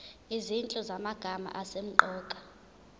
izinhlu zamagama asemqoka